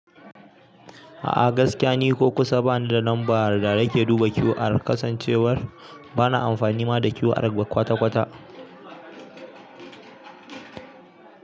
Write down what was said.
A'a gaskiya ni ko kusa bani da lambar da nake duba QR, kasancewar bana amfani ma da QR kwata-kwata.